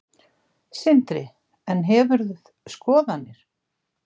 Sindri: En hefur skoðanir?